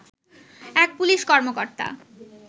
এক পুলিশ কর্মকর্তা